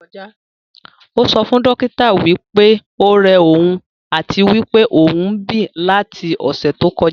Ó sọ fún dókítà wí pé ó rẹ òun àti wí pé òún bí láti ọ̀sẹ̀ tó kọjá